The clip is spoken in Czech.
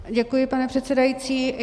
Děkuji, pane předsedající.